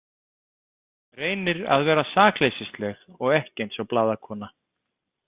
Reynir að vera sakleysisleg og ekki eins og blaðakona.